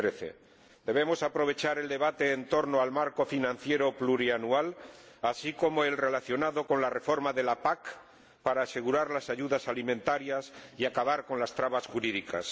2013. Debemos aprovechar el debate en torno al marco financiero plurianual, así como el relacionado con la reforma de la PAC, para asegurar las ayudas alimentarias y acabar con las trabas jurídicas.